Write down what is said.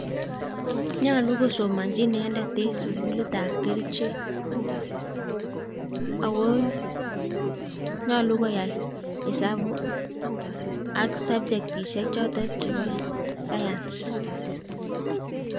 Nyolu kosomonyii inendet en sugulitab kerichek, ako nyolu koyai hesabu ak sabchektisiek chotet chebo science